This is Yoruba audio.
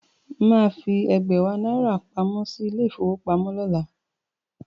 Mà á fi ẹ̀gbẹ̀wá náírà pamọ́ sí ilé-ìfowópamọ́sí lọ́la.